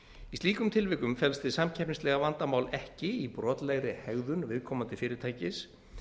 í slíkum tilvikum felst hið samkeppnislega vandamál ekki í brotlegri hegðun viðkomandi fyrirtækis